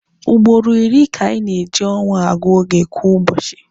Ugboro iri ka anyị na-eji ọnwa agụ oge kwa ụbọchị.